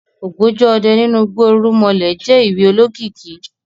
Ògbójú ọdẹ nínú igbó irúnmalẹ̀ je ìwé olokiki